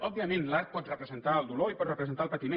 òbviament l’art pot representar el dolor i pot representar el patiment